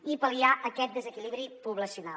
i pal·liar aquest desequilibri poblacional